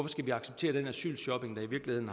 skal vi acceptere den asylshopping der i virkeligheden